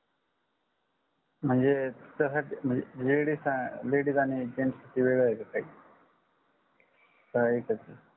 म्हणजे त्यासाठी ladies आणि gents च वेगळ आहे का काही का एकच आहे